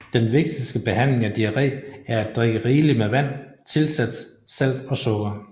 Den vigtigste behandling af diarré er at drikke rigeligt med vand tilsat salt og sukker